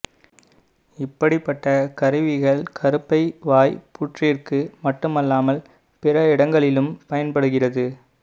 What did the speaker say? இப்படிப்பட்ட கருவிகள் கருப்பை வாய் புற்றிற்கு மட்டுமல்லாமல் பிற இடங்களிலும் பயன்படுகிறது